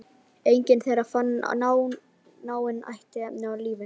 Enginn þeirra fann náin ættmenni á lífi.